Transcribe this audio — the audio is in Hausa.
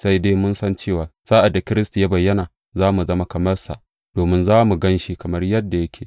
Sai dai mun san cewa sa’ad da Kiristi ya bayyana, za mu zama kamar sa, domin za mu gan shi kamar yadda yake.